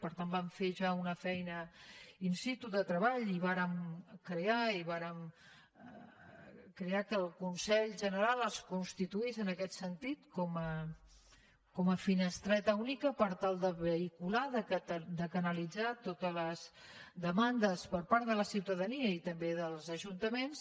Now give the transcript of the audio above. per tant vam fer ja una feina in situque el consell general es constituís en aquest sentit com a finestreta única per tal de vehicular de canalitzar totes les demandes per part de la ciutadania i també dels ajuntaments